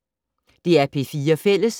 DR P4 Fælles